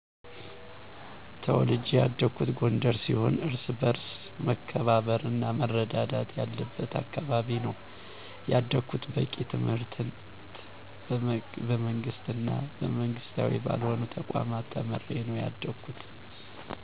ተውልጀ ያደኩት ጎንደር ሲሆን እርስ በርስ መከባበር እና መረዳዳት ያለብት አካባቢ ነው ያደኩት። በቂ ትምህርትን በመንግስት እና መንግስታዊ ባልሆኑ ተቋማት ተምሬ ነው ያደኩት።